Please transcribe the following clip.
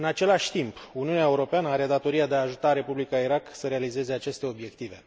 În același timp, Uniunea Europeană are datoria de a ajuta Republica Irak să realizeze aceste obiective.